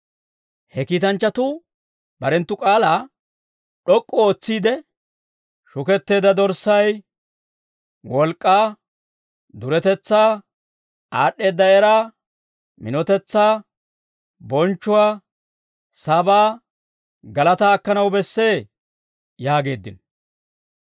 He kiitanchchatuu barenttu k'aalaa d'ok'k'u ootsiide, «Shuketteedda Dorssay wolk'k'aa, duretetsaa, aad'd'eedda eraa, minotetsaa, bonchchuwaa, sabaa, galataa akkanaw bessee!» yaageeddino.